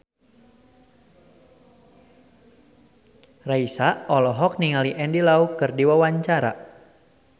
Raisa olohok ningali Andy Lau keur diwawancara